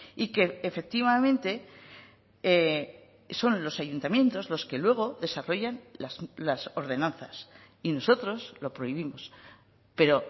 y que efectivamente son los ayuntamientos los que luego desarrollan las ordenanzas y nosotros lo prohibimos pero